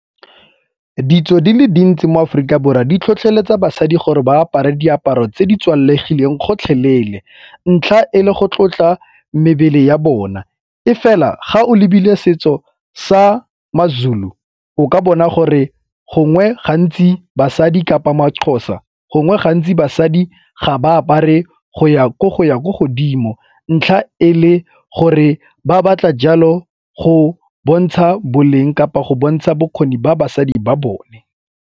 Ditso di le dintsi mo Aforika Borwa di tlhotlheletsa basadi gore ba apare diaparo tse di tswalegileng gotlhelele ntlha e le go tlotla mebele ya bona. E fela ga o lebile setso sa maZulu o ka bona gore gongwe gantsi basadi kapa maXhosa gongwe gantsi basadi ga ba apare go ya ko godimo ntlha e le gore ba batla jalo go bontsha boleng kapa go bontsha bokgoni ba basadi ba bone.